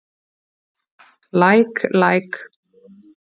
Læk læk.